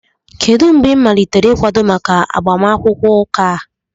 Kedụ mgbe ị malitere ịkwado maka agbamakwụkwọ ụka a?